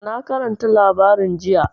Na karanta labarin jiya.